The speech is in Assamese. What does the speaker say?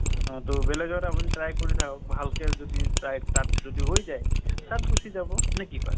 অ টো বেলেগ জাগাতো আপুনি try কৰি থাকক ভালকে যদি try তাত যদি হৈ যায়, তাত গুছি যাব। নে কি কয়